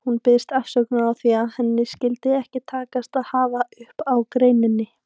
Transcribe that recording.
Hún biðst afsökunar á því að henni skyldi ekki takast að hafa upp á greininni.